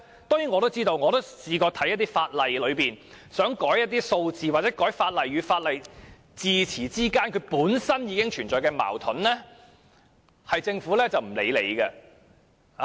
當然，我曾看過一些法例，並想修改一些數字或法例與法例之間用詞上的矛盾，但政府卻不予理會。